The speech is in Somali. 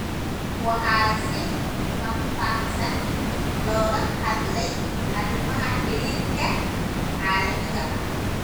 Waxaa si faahfaahsan looga hadlay arrimaha xiriirka caalamiga ah.